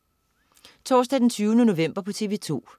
Torsdag den 20. november - TV2: